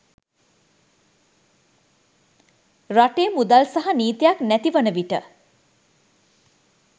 රටේ මුදල් සහ නීතියක් නැති වන විට